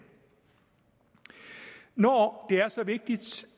når det er så vigtigt